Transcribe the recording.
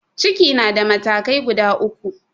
Ciki na da matakai guda uku.